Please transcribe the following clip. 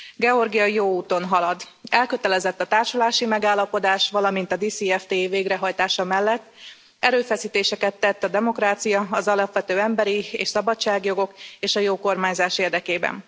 Georgia jó úton halad, elkötelezett a társulási megállapodás, valamint a DCFTA végrehajtása mellett, erőfeszítéseket tett a demokrácia, az alapvető emberi és szabadságjogok és a jó kormányzás érdekében.